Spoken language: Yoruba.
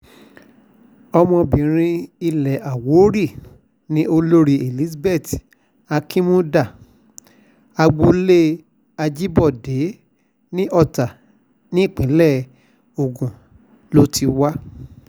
ọmọọbabìnrin ilẹ̀ àwórì ni olórí elizabeth akinmuda agboolé ajíbọ́dé ní ọ̀tá nípínlẹ̀ ogun ló ti wá